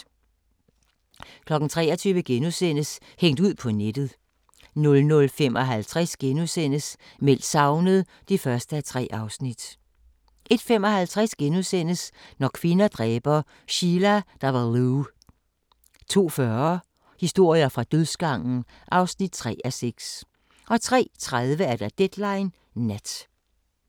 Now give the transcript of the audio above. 23:00: Hængt ud på nettet * 00:55: Meldt savnet (1:3)* 01:55: Når kvinder dræber – Sheila Davalloo * 02:40: Historier fra dødsgangen (3:6) 03:30: Deadline Nat